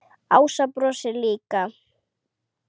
Ása brosir líka.